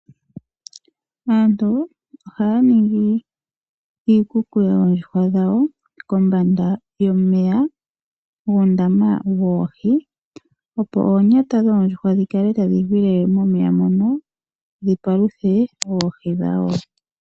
Aantu ohaya ningi iikuku yoondjuhwa dhawo kombanda yomeya guundama woohi , opo oonyata dhoondjuhwa dhi kale tadhi gwile momeya mono dhi paluthe oohi dhawo.